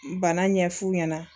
Bana ɲɛf'u ɲɛna